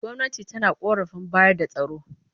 Gwamnati tana ƙoƙarin bayar da tsaro